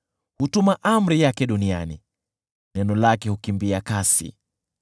Hutuma amri yake duniani, neno lake hukimbia kasi.